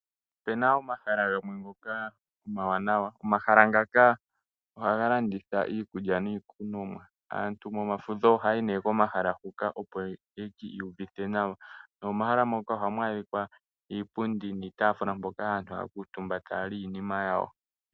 Opu na omahala gamwe ngoka omawanawa. Omahala ngaka ohaga landitha iikulya niikunwa . Aantu momafudho ohaya yi komahala huka, opo ye ki iyuvithe nawa. Nokomahala huka ohaku adhika iipundi niitaafula mpoka aantu haya kuutumba e taya li iinima yawo.